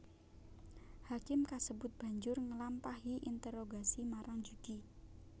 Hakim kasebut banjur nglampahi interogasi marang Jugi